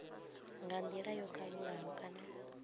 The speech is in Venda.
nga ndila yo kalulaho kana